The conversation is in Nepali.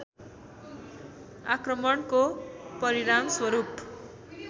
आक्रमणको परिणामस्वरूप